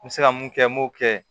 N bɛ se ka mun kɛ n m'o kɛ